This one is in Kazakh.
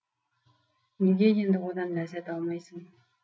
неге енді одан ләззат алмайсың